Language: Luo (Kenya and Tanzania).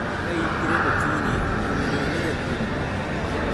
Ka in gi rem e chunyi, owinjo ine jathiethni.